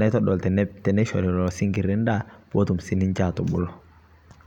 naitodol teneishorii leloo sinkirii ndaa peetum sii ninshee atubuluu.